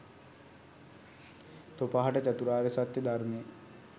තොප හට චතුරාර්ය සත්‍ය ධර්මය